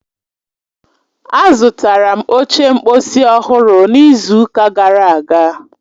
Azụtara m oche mkposi ọhụrụ n'izu ụka gara aga